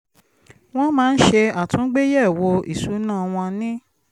wọ́n máa ń ṣe àtúngbéyẹ̀wo ìṣúná wọn ní